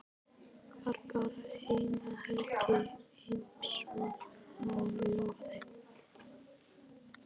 Var bara eina helgi einsog hann lofaði.